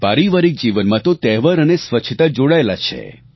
પારિવારિક જીવનમાં તો તહેવાર અને સ્વચ્છતા જોડાયેલા છે